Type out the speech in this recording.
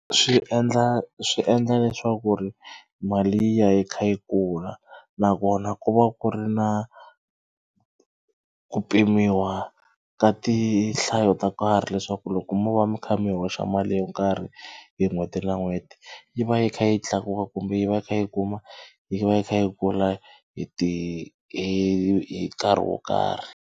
Swi endla swi endla leswaku ku ri mali yi ya yi kha yi kula nakona ku va ku ri na ku pimiwa ka tinhlayo to karhi leswaku loko mo va mi kha mi hoxa mali yo karhi hi n'hweti na n'hweti yi va yi kha yi tlakuka kumbe yi va yi kha yi kuma yi va yi kha yi kula hi ti hi nkarhi wo karhi.